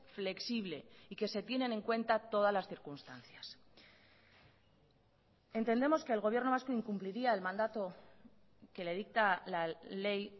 flexible y que se tienen en cuenta todas las circunstancias entendemos que el gobierno vasco incumpliría el mandato que le dicta la ley